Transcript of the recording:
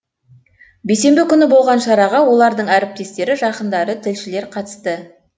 бейсенбі күні болған шараға олардың әріптестері жақындары тілшілер қатысты